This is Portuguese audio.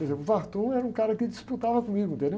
Por exemplo, o era um cara que disputava comigo.